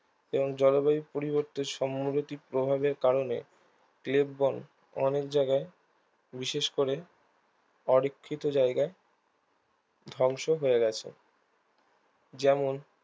এবং জলবায়ু পরিবর্তে সম্মগতিক প্রভাবের কারণে ক্লেববন অনেক জায়গায় বিশেষ করে অরক্ষিত জায়গায় ধ্বংস হয়ে গেছে যেমন